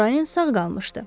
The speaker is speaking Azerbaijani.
Əmrayin sağ qalmışdı.